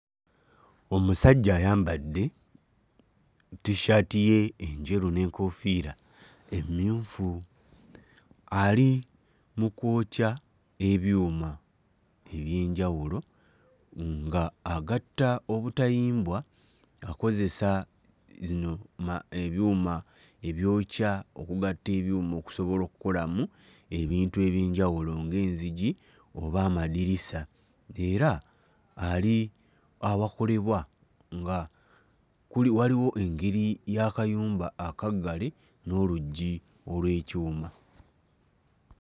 Omusajja ayambadde t-shirt ye enjeru n'enkoofiira emmyufu, ali mu kwokya ebyuma eby'enjawulo nga agatta obutayimbwa akozesa zino ma ebyuma ebyokya okugatta ebyuma okusobola okukolamu ebintu eby'enjawulo ng'enzigi oba amadirisa. Era ali awakolebwa nga kuli waliwo engeri y'akayumba akaggale n'oluggi olw'ekyuma.